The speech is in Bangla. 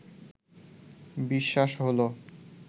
বিশ্বাস হলো